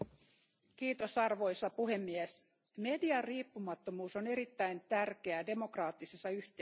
Arvoisa puhemies, median riippumattomuus on erittäin tärkeää demokraattisessa yhteiskunnassa.